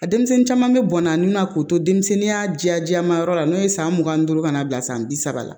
A denmisɛnnin caman bɛ bɔn a n'u na k'u to denmisɛnninya ja jɛman yɔrɔ la n'o ye san mugan ni duuru ka n'a bila san bi saba la